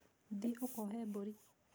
Thiĩ ũkoohe mbũri.